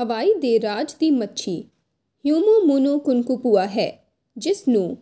ਹਵਾਈ ਦੇ ਰਾਜ ਦੀ ਮੱਛੀ ਹਿਊਮੁਮੁੁਨੁਕੁਨਕੂਪੁਆ ਹੈ ਜਿਸ ਨੂੰ ਰਿਫ